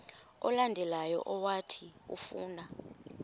olandelayo owathi ufuna